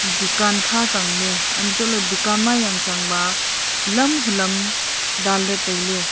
dukan kha changley antoh ley dukan ma yang chang ba hulam hulam dan ley tailey.